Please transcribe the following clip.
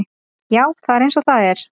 Já, það er eins og það er.